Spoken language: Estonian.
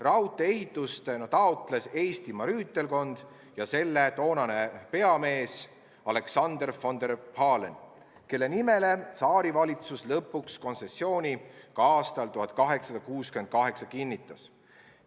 Raudtee ehitust taotlesid Eestimaa rüütelkond ja selle toonane peamees Alexander von der Pahlen, kelle nimele tsaarivalitsus lõpuks aastal 1868 kontsessiooni ka kinnitas.